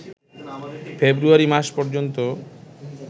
ফেব্রুয়ারী মাস পর্যন্ত